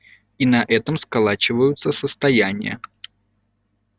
и на этом сколачиваются состояния